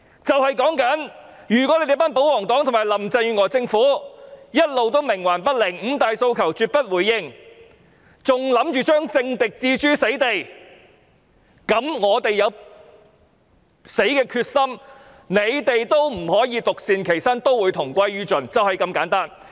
就是說，如果保皇黨和林鄭月娥政府一直冥頑不靈，絕不回應五大訴求，還想把政敵置諸死地，那麼我們有死的決心，但他們也不能獨善其身，要同歸於盡，就是這麼簡單。